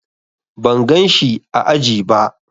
Ban gan shi ã aji ba.